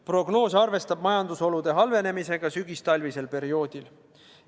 Prognoos arvestab majandusolude halvenemisega sügistalvisel perioodil.